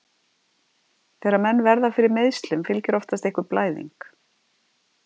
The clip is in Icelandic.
Þegar menn verða fyrir meiðslum, fylgir oftast einhver blæðing.